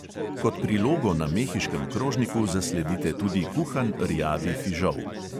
Kot prilogo na mehiškem krožniku zasledite tudi kuhan rjavi fižol.